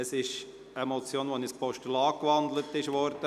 Es geht um eine Motion , die in ein Postulat gewandelt wurde.